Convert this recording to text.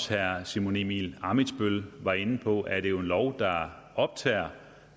herre simon emil ammitzbøll var inde på er det jo en lov der optager